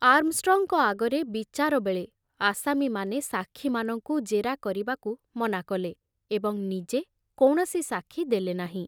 ଆର୍ମଷ୍ଟ୍ରଙ୍ଗଙ୍କ ଆଗରେ ବିଚାରବେଳେ ଆସାମୀମାନେ ସାକ୍ଷୀମାନଙ୍କୁ ଜେରା କରିବାକୁ ମନାକଲେ ଏବଂ ନିଜେ କୌଣସି ସାକ୍ଷୀ ଦେଲେନାହିଁ।